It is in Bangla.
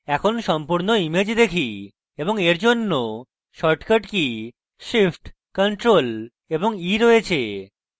এখন সম্পূর্ণ image দেখি এবং এর জন্য shortcut key shift + ctrl + e রয়েছে